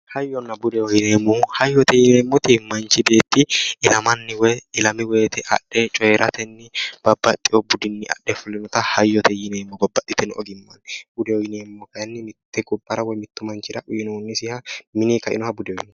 Hayyona budeho yineemmohu hayyote yineemmoti manchi beetti ilamanni woyi ilami woyiite adhe coyeeratenni babbaxxeyo budinni adhe fulinota hayyote yineemmo babbaxxiteyo ogimmanni budeho yineemmohu kayeenni mitte gobbara woye mittu manchira uyinoonnisiha mini kainoha budeho yineemmo